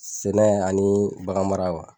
Sɛnɛ ani bagan mara wa?